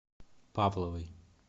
павловой